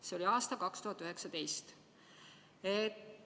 See oli aastal 2019.